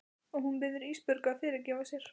Og hún biður Ísbjörgu að fyrirgefa sér.